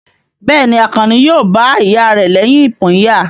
Bẹ́ẹ̀ni, Àkànní yóò bá ìyá rẹ̀ lẹ́yìn ìpínyà?